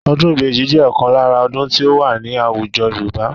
Ọdún ìbejì jẹ́ ọ̀kan lára ọdún tí ó wà ní àwùjọ Yorùbá